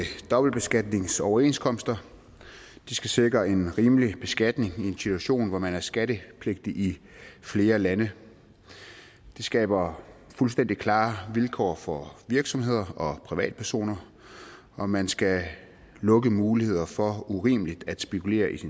dobbeltbeskatningsoverenskomster de skal sikre en rimelig beskatning i en situation hvor man er skattepligtig i flere lande det skaber fuldstændig klare vilkår for virksomheder og privatpersoner og man skal lukke mulighederne for urimeligt at spekulere i